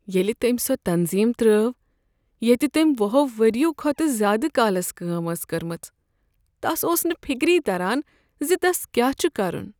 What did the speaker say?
ییٚلہ تٔمۍ سۄ تنظیم ترٛاو ییٚتہ تٔمۍ ۄُہو ؤریو کھۄتہٕ زیٛادٕ کالس کٲم ٲس کٔرمٕژ، تس اوس نہٕ فکری تران زِ تس کیٛاہ چھ کرُن